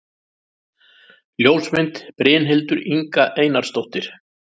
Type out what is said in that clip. Ljósmynd: Brynhildur Inga Einarsdóttir